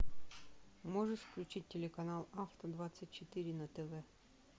можешь включить телеканал авто двадцать четыре на тв